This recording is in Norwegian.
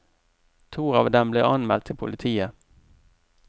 To av dem ble anmeldt til politiet.